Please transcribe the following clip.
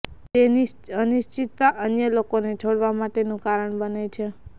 તે અનિશ્ચિતતા અન્ય લોકોને છોડવા માટેનું કારણ બને છે